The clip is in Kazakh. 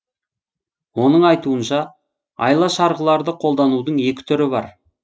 оның айтуынша айла шарғыларды қолданудың екі түрі бар